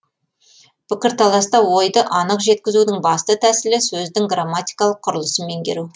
пікірталаста ойды анық жеткізудің басты тәсілі сөздің грамматикалық құрылысын меңгеру